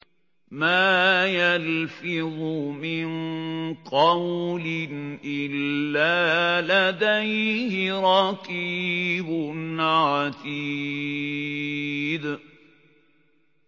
مَّا يَلْفِظُ مِن قَوْلٍ إِلَّا لَدَيْهِ رَقِيبٌ عَتِيدٌ